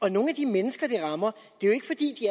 er nogle af de mennesker det rammer